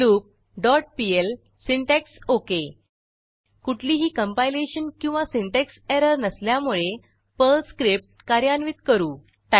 loop dot PL syntax okay कुठलीही compilation किंवा syntax error नसल्यामुळे पर्ल स्क्रिप्ट कार्यान्वित करू